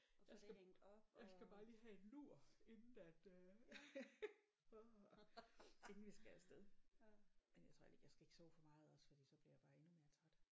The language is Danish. Jeg skal jeg skal bare lige have en lur inden at øh åh inden vi skal af sted men jeg tror heller ikke jeg skal ikke sove for meget også fordi så bliver jeg jo bare endnu mere træt